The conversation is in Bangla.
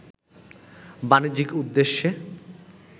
বাণিজ্যিক উদ্দেশ্যে